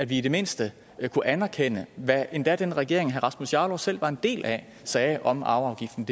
vi i det mindste anerkende hvad endda den regering herre rasmus jarlov selv var en del af sagde om arveafgiften